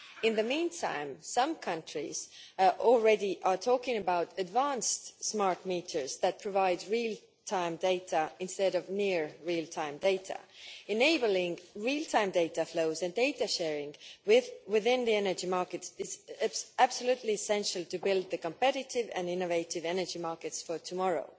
In the meantime, some countries are already talking about advanced smart meters that provide real time data instead of near real time data, enabling real time data flows and data sharing within the energy markets, with this being absolutely essential to build competitive and innovative energy markets for tomorrow.